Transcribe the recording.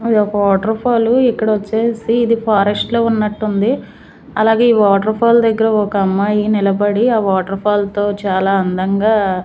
అదొక waterfall ఇక్కడొచ్చేసి ఇది ఫారెస్ట్ లో ఉన్నట్టుంది అలాగే ఈ వాటర్ ఫాల్ దగ్గర ఒక అమ్మాయి నిలబడి ఆ వాటర్ఫాల్తో చాలా అందంగా--